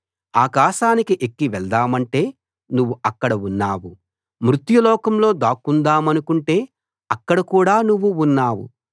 ఆకాశానికి ఎక్కి వెళ్దామంటే నువ్వు అక్కడ ఉన్నావు మృత్యులోకంలో దాక్కుందామనుకుంటే అక్కడ కూడా నువ్వు ఉన్నావు